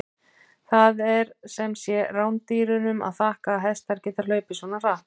Það er sem sé rándýrunum að þakka að hestar geta hlaupið svona hratt!